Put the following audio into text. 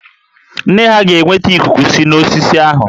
Nne ha ga-enweta ikuku si n'osisi ahụ